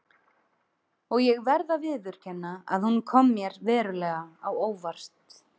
Og ég verð að viðurkenna að hún kom mér verulega á óvart.